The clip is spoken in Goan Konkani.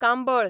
कांबळ